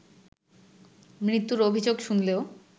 মৃত্যুর অভিযোগ শুনলেও